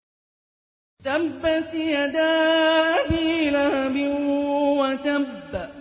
تَبَّتْ يَدَا أَبِي لَهَبٍ وَتَبَّ